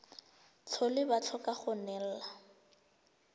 tlhole ba tlhoka go neelana